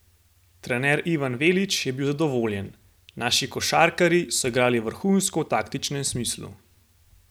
Trener Ivan Velić je bil zadovoljen: "Naši košarkarji so igrali vrhunsko v taktičnem smislu.